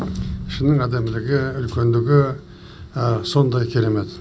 ішінің әдемілігі үлкендігі сондай керемет